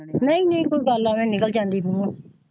ਨਹੀਂ ਨਹੀਂ ਕੋਈ ਗੱਲ ਐਵੇ ਨਿਕਲ ਜਾਂਦੀ ਹੈ ਮੂਹੁ।